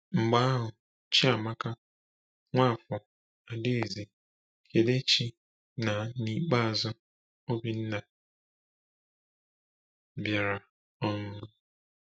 Mgbe ahụ, Chiamaka, Nwafor, Adaeze, Kelechi, na n’ikpeazụ Obinna bịara. um